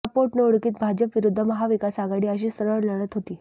या पोटनिवडणुकीत भाजप विरुद्ध महाविकास आघाडी अशी सरळ लढत होती